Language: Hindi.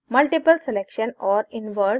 multiple selection और invert selection